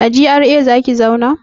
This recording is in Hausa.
A GRA zaki zauna?